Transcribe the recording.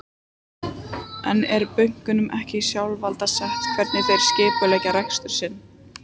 En er bönkunum ekki sjálfsvald sett hvernig þeir skipuleggja rekstur sinn?